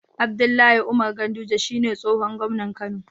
Abdullahi Umar ganduje shine tsihon gomnan kano